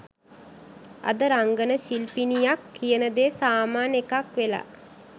අද රංගන ශිල්පිනියක් කියන දේ සාමාන්‍ය එකක් වෙලා